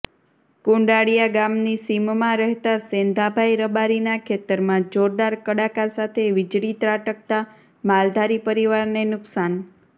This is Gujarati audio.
કુંડાળીયા ગામની સીમમાં રહેતા સેંધાભાઇ રબારીના ખેતરમાં જોરદાર કડાકા સાથે વીજળી ત્રાટકતાં માલધારી પરિવારને નુકસાન